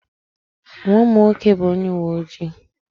Nwa m nwoke bụ onye uwe ojii.